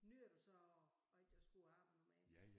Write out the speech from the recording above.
Nyder du så at at ikke at skulle arbejde mere?